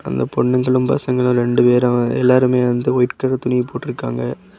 இந்த பொண்ணுங்களும் பசங்களு ரெண்டு பேரு எல்லாருமே வந்து ஒயிட் கலர் துணிய போட்ருக்காங்க.